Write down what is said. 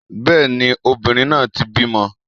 Bẹ́ẹ̀ni, obìnrin náà ti bímọ